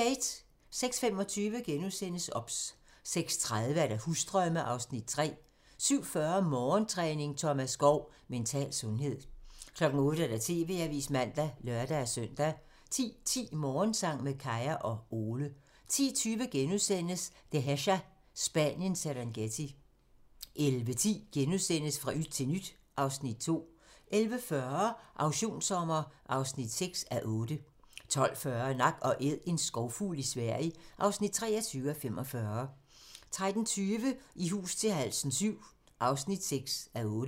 06:25: OBS * 06:30: Husdrømme (Afs. 3) 07:40: Morgentræning: Thomas Skov - Mental sundhed 08:00: TV-avisen (man og lør-søn) 10:10: Morgensang med Kaya og Ole 10:20: Dehesa - Spaniens Serengeti * 11:10: Fra yt til nyt (Afs. 2)* 11:40: Auktionssommer (6:8) 12:40: Nak & Æd - en skovfugl i Sverige (23:45) 13:20: I hus til halsen VII (6:8)